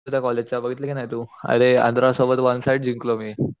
आपल्या कॉलेजचा बघितलं कि नाही तू अरे आन्ध्रा सोबत वन साइड जिंकलो मी